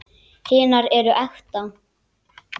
Hinar eru ekta.